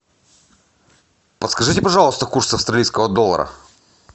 подскажите пожалуйста курс австралийского доллара